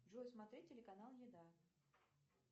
джой смотреть телеканал еда